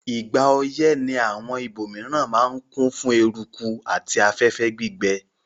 Ìgbà oyẹ́ ni àwon ibòmiran ma n kún fún eruku àti afẹ́fẹ́ gbígbẹ